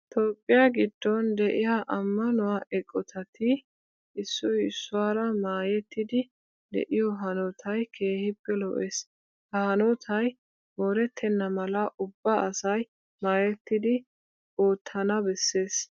Toophphiya giddon de'iya ammanuwa eqotati issoy issuwara maayettidi de'iyo hanotay keehippe lo"ees. Ha hanotay moorettenna mala ubba asay maayettidi oottana bessees.